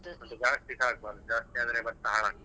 ಅದ್ ಜಾಸ್ತಿಸಾ ಆಗ್ಬಾರ್ದು ಜಾಸ್ತಿ ಆದ್ರೆ ಭತ್ತ ಹಾಳಾಕ್ತದೆ.